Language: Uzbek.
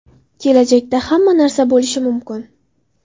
Kelajakda hamma narsa bo‘lishi mumkin.